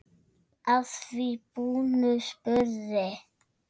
Að því búnu spurði